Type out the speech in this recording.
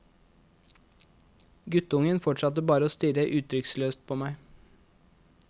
Guttungen fortsatte bare å stirre uttrykksløst på meg.